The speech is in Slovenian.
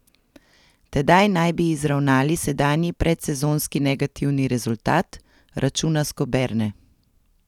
Tedaj naj bi izravnali sedanji predsezonski negativni rezultat, računa Skoberne.